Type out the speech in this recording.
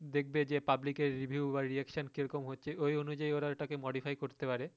দেখবে যে reviewreaction কীরকম হচ্ছে ওই অনুযায়ী ওরা ওটা কে modify করতে পারে